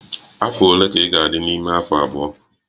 Afọ ole ka ị ga-adị n'ime afọ abụọ?